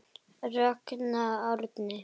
Ragnar Árni.